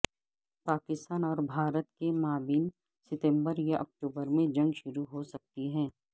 پاکستان اور بھارت کے مابین ستمبر یا اکتوبر میں جنگ شروع ہو سکتی ہے